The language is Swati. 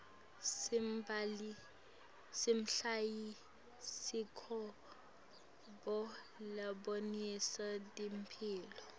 simabhayisikobho labonisa temphilo